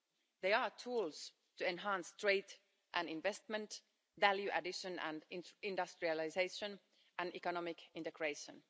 They are tools to enhance trade and investment, value addition and industrialisation, and economic integration.